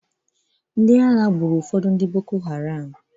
Ndị ami ahụ gburu ụfọdụ ndị Boko Haram.